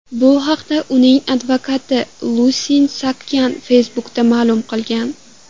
Bu haqda uning advokati Lusine Saakyan Facebook’da ma’lum qilgan.